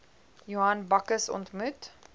johan bakkes ontmoet